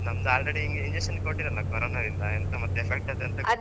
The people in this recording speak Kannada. ನಮ್ದ್ already ಈ injection ಕೊಟ್ಟಿದ್ದರಲ್ಲ corona ದಿಂದೀಗ, ಎಂತ ಮತ್ತ್ effect ಅದ್ .